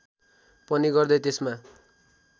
पनि गर्दै त्यसमा